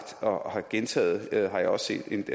og har gentaget har jeg set